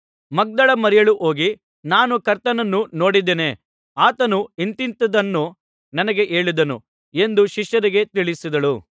ಮಗ್ದಲದ ಮರಿಯಳು ಹೋಗಿ ನಾನು ಕರ್ತನನ್ನು ನೋಡಿದ್ದೇನೆ ಆತನು ಇಂಥಿಂಥದನ್ನು ನನಗೆ ಹೇಳಿದನು ಎಂದು ಶಿಷ್ಯರಿಗೆ ತಿಳಿಸಿದಳು